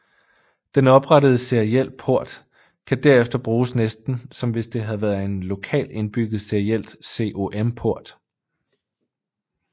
Den oprettede seriel port kan derefter bruges næsten som hvis det havde været en lokal indbygget seriel COM port